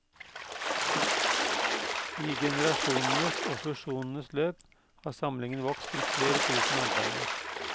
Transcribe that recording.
I generasjonenes og fusjonenes løp har samlingen vokst til flere tusen arbeider.